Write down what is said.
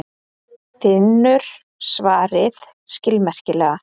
Finnur svaraði skilmerkilega.